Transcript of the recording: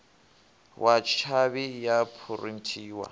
wa tshavhi i a phurinthiwa